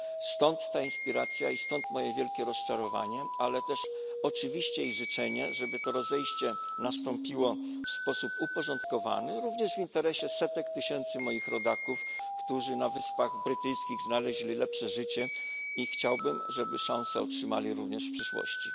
Stąd ta inspiracja i stąd moje wielkie rozczarowanie, ale też oczywiście i życzenie, żeby to rozejście nastąpiło w sposób uporządkowany, również w interesie setek tysięcy moich rodaków, którzy na Wyspach Brytyjskich znaleźli lepsze życie i chciałbym, żeby szansę otrzymali również w przyszłości.